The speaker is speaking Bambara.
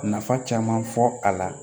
Nafa caman fɔ a la